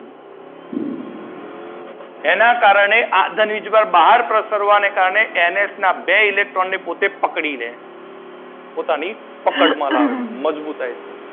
એના કારણે આ ધન વીજભાર બહાર પ્રસારવા ના કારણે એન એચ ના બે ઇલેક્ટ્રોન પોતે પકડી લે પોતાની પકડ માં લાવે પોતાને મજબૂતાઈ થી.